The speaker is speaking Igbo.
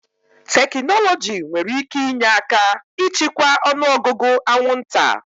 Tekinọloji nwere ike inye aka ịchịkwa ọnụ ọgụgụ anwụnta.